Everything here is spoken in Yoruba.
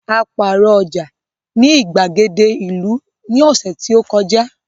A pààrọ̀ ọjà ní ìgbàgede ìlú ní ọ̀sẹ̀ tó kọjá